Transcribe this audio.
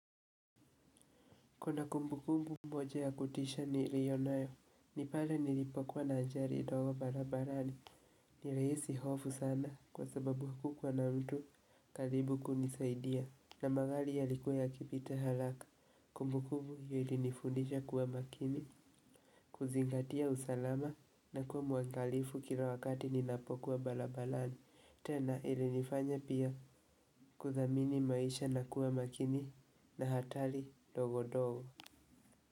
Kuna kumbukumbu moja ya kutisha nilio nayo, nipale nilipokuwa na ajali ndogo barabarani, nilihisi hofu sana kwa sababu hukuwa na mtu karibu kunisaidia. Na magari yalikuwa yakipita haraka, kumbukumbu hio ilinifundisha kuwa makini, kuzingatia usalama na kuwa muangalifu kila wakati ninapokuwa barabarani. Tena ilinifanya pia kuthamini maisha na kuwa makini na hatari ndogondogo.